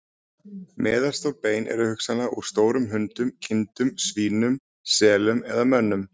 Meðalstór bein eru hugsanlega úr stórum hundum, kindum, svínum, selum eða mönnum.